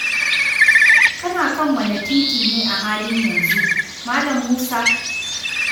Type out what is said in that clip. Kana kan wane titi ne a halin yanzu, Mal. Musa?